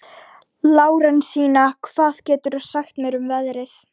Lárensína, hvað geturðu sagt mér um veðrið?